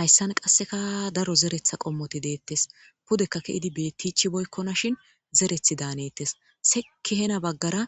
Hayissan qasekka daro zereththa qomoti deetes pudekka ke'id beichibokkonashin zereththi danetes seki hena bagara